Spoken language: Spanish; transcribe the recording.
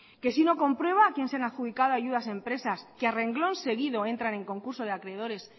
que si uno comprueba a quién se han adjudicado empresas que a renglón seguido entrar en concurso de acreedores